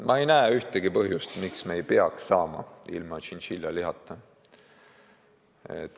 Ma ei näe ühtegi põhjust, miks me ei peaks hakkama saama ilma tšintšiljalihata.